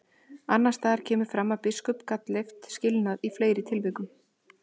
Annars staðar kemur fram að biskup gat leyft skilnað í fleiri tilvikum.